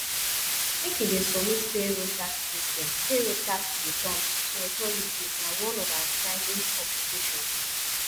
make you dey submit payroll tax submit payroll tax returns to authorities na one of our filing obligation